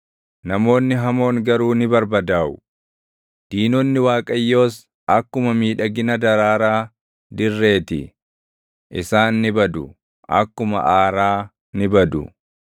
Namoonni hamoon garuu ni barbadaaʼu; diinonni Waaqayyoos akkuma miidhagina daraaraa dirree ti; isaan ni badu; akkuma aaraa ni badu.